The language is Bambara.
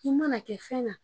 I mana kɛ fɛn na